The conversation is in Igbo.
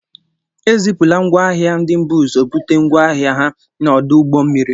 Ezipula ngwa ahịa ndị bu ụzọ bute ngwá ahịa ha n'ọdụ ụgbọ mmiri.